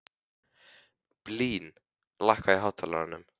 Blín, lækkaðu í hátalaranum.